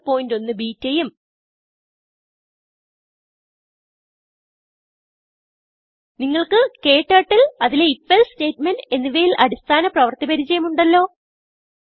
081 ബെട്ട ഉം നിങ്ങൾക്ക് ക്ടർട്ടിൽ അതിലെ ഐഎഫ് എൽസെ statementഎന്നിവയിൽ അടിസ്ഥാന പ്രവർത്തി പരിചയം ഉണ്ടല്ലോ